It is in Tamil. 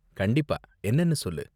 கண்டிப்பா, என்னனு சொல்லு.